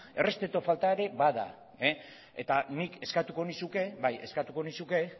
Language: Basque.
errespetu falta ere bada eta nik eskatuko nizuke bai eskatuko nizuke